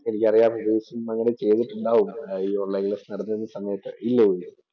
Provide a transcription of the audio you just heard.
എനിക്കറിയാം അങ്ങനെ ചെയ്തിട്ടുണ്ടാവും. ഈ ഓണ്‍ലൈന്‍ ക്ലാസ്സ്‌ നടന്നിരുന്ന സമയത്ത്. ഇല്ലേ?